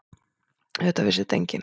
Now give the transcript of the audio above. Auðvitað vissi þetta enginn.